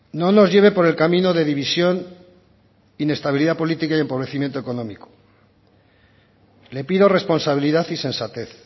no nos lleve por el camino de división inestabilidad política y empobrecimiento económico le pido responsabilidad y sensatez